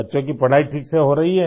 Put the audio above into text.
बच्चों की पढ़ाई ठीक से हो रही है